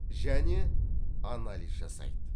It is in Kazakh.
және анализ жасайды